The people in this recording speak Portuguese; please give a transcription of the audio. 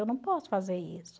Eu não posso fazer isso.